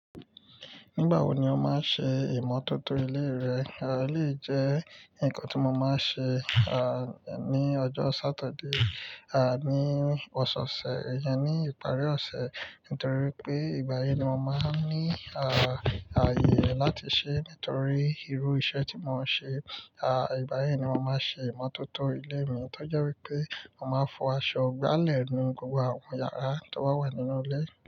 Nígbà wo ni o máa ń ṣe ìmọ̀tótó ilé rẹ? Aà, ó lè jẹ́ nǹkan tí mo máa ń ṣe, à, ní ọjọ́ Saturday, à, ní Ọ̀sọ̀ọ̀sẹ̀, ìyẹn ní ìparí ọ̀sẹ̀, nítorí pé ìgbà yẹn ni mo máa ń ní, à, ààyè láti ṣe é nítorí irú iṣẹ́ tí mo ń ṣe. À, ìgbà yẹn ni mo máa ń ṣe ìmọ̀tótó ilé mi. Ó jẹ́ wípé mo máa ń fọ aṣọ, gbálẹ̀ nu gbogbo àwọn yàrá tó wà nínú ilé.